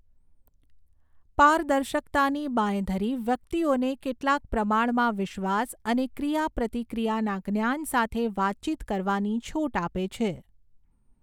પારદર્શકતાની બાંયધરી વ્યક્તિઓને કેટલાક પ્રમાણમાં વિશ્વાસ અને ક્રિયાપ્રતિક્રિયાના જ્ઞાન સાથે વાતચીત કરવાની છૂટ આપે છે.